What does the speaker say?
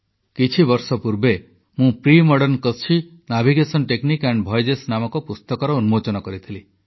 କିଛିବର୍ଷ ପୂର୍ବେ ମୁଁ premodern Kutchi navigation technique and voyages ନାମକ ପୁସ୍ତକର ଉନ୍ମୋଚନ କରିଥିଲି